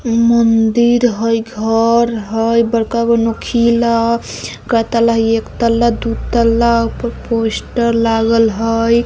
मंदिर हेय घर हेय बड़का गो नूकिला हेय के तल्ला हेय एक तल्ला दू तल्ला ऊपर पोस्टर लागेल हेय।